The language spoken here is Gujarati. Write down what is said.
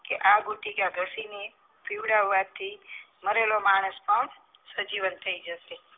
કે આ બુટિક ઘસીને પીવરાવ થી મરેલો માણસ પણ સજીવન થઈ જશે